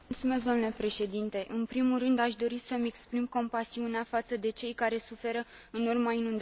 În primul rând, aș dori să îmi exprim compasiunea față de cei care suferă în urma inundațiilor din România.